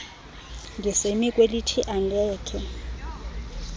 ndisemi kwelithi angekhe